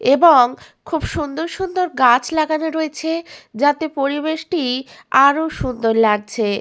এবং খুব সুন্দর সুন্দর গাছ লাগানো রয়েছে যাতে পরিবেশটি আরো সুন্দর লাগছে।